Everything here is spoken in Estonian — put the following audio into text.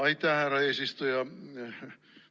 Aitäh, härra eesistuja!